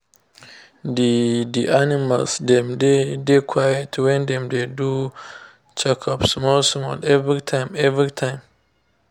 the the animals dem dey dey quiet when dem dey do check-ups small small every time every time.